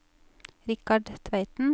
Richard Tveiten